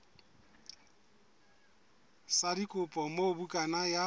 sa dikopo moo bukana ya